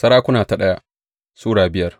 daya Sarakuna Sura biyar